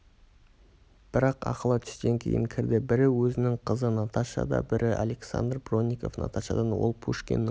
бірақ ақылы түстен кейін кірді бірі өзінің қызы наташа да бірі александр бронников наташадан ол пушкиннің